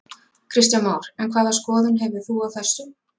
Kristján Már: En hvaða skoðun hefur þú á þessu?